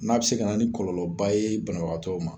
N'a bi se ka na ni kɔlɔlɔba ye banabagatɔ ma